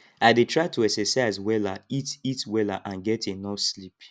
i dey try to exercise wella eat eat wella and get enough sleep